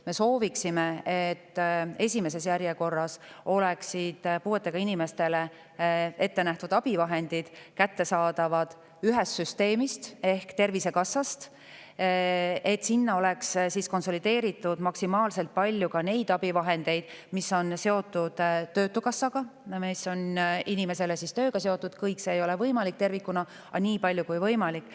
Me soovime, et esimeses järjekorras oleksid puuetega inimestele ette nähtud abivahendid kättesaadavad ühest süsteemist ehk Tervisekassast, et sinna oleks maksimaalselt konsolideeritud ka need abivahendid, mis on seotud töötukassaga ja inimese tööga – kõik see tervikuna ei ole võimalik, aga nii palju kui võimalik.